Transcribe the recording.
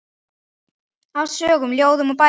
Af sögum, ljóðum og bænum.